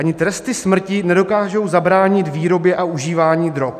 Ani tresty smrti nedokážou zabránit výrobě a užívání drog.